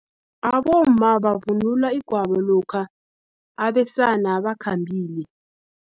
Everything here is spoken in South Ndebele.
Abomma bavunula igwabo lokha, abesana bakhambile.